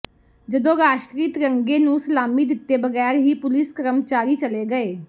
ਜਦੋਂ ਰਾਸ਼ਟਰੀ ਤਿਰੰਗੇ ਨੂੰ ਸਲਾਮੀ ਦਿੱਤੇ ਬਗੈਰ ਹੀ ਪੁਲਿਸ ਕਰਮਚਾਰੀ ਚਲੇ ਗਏ